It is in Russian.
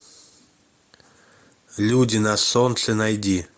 люди на солнце найди